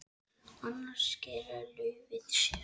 Annars skilar laufið sér.